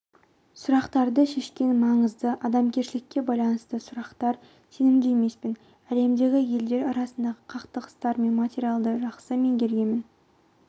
сұрақтарды шешкен маңызды адамгершілікке байланысты сұрақтар сенімді емеспін әлемдегі елдер арасындағы қақтығыстар мен материалды жақсы меңгеремін